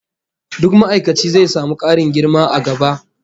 Duk ma'aikaci zai samu karin girma a gaba